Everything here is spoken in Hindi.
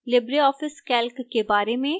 libreoffice calc के बारे में